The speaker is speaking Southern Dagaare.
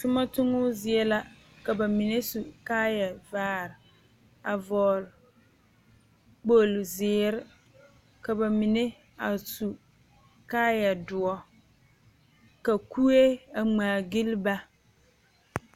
Toma tommo zie la ka ba mine su kaayavaare a vɔgle kpogli zeere ka ba mine a su kaayadoɔre ka kuee a ŋmaagyili ba.